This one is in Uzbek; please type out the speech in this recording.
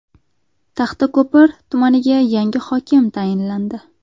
Taxtako‘pir tumaniga yangi hokim tayinlandi.